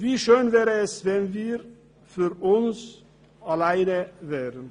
Wie schön wäre es, wenn wir für uns allein wären!